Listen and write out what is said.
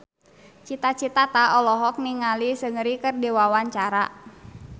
Cita Citata olohok ningali Seungri keur diwawancara